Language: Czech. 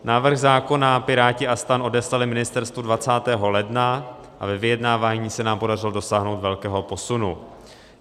Návrh zákona Piráti a STAN odeslali ministerstvu 20. ledna a ve vyjednávání se nám podařilo dosáhnout velkého posunu.